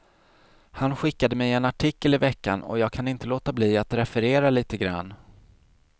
Han skickade mig en artikel i veckan och jag kan inte låta bli att referera lite grann.